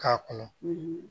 K'a kunun